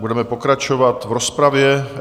Budeme pokračovat v rozpravě.